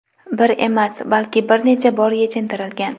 bir emas, balki bir necha bor yechintirilgan.